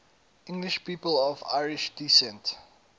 english people of irish descent